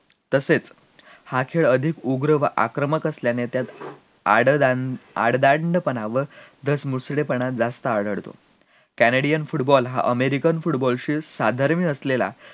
तसेच हा खेळ अधिक उग्र व आक्रमक असल्याने आडदांड, आडदांड पणा व तर पणा जास्त आढळतो canedian football हा american football शी साधर्म्य असलेला